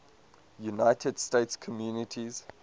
united states communities